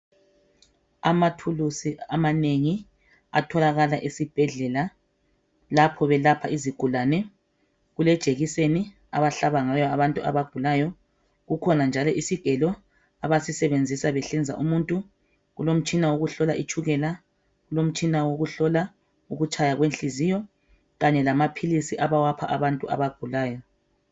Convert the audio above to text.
Amathulusi amanengi atholakala esibhedlela lapho belapha izigulane kulejekiseni abahlaba ngayo abantu abagulayo, kukhona isigelo abasisebenzisa behlinza umuntu, kulomtshina wokuhlola itshukela, kulomtshina wokuhlola ukutshaya kwenhliziyo kanye lamaphilisi abawapha abantu abagulayo.